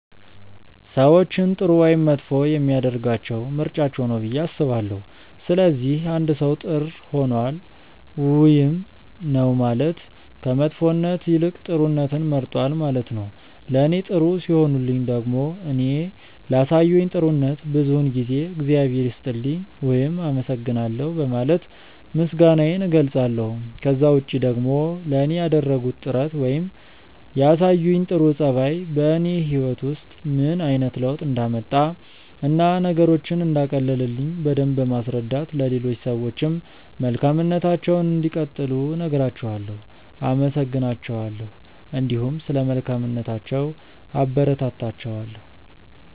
ሰዎችን ጥሩ ወይም መጥፎ የሚያደርጋቸው ምርጫቸው ነው ብዬ አስባለሁ። ስለዚህ አንድ ሰው ጥር ሆኗል ውይም ነው ማለት ከመጥፎነት ይልቅ ጥሩነትን መርጧል ነው ማለት ነው። ለኔ ጥሩ ሲሆኑልኝ ደግሞ እኔ ላሳዩኝ ጥሩነት ብዙውን ጊዜ እግዚአብሔር ይስጥልኝ ውይም አመሰግናለሁ በማለት ምስጋናዬን እገልጻለሁ። ከዛ ውጪ ደግሞ ለኔ ያደረጉት ጥረት ነገር ወይም ያሳዩኝ ጥሩ ጸባይ በኔ ህይወት ውስጥ ምን አይነት ለውጥ እንዳመጣ እና ነገሮችን እንዳቀለለልኝ በደምብ በማስረዳት ለሌሎች ሰዎችም መልካምነታቸውን እንዲቀጥሉ እነግራቸዋለው፣ አመሰግናቸዋለሁ እንዲሁም ስለ መልካምነታቸው አበረታታቸዋለሁ።